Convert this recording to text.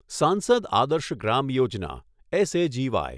સાંસદ આદર્શ ગ્રામ યોજના એસ.એ.જી.વાય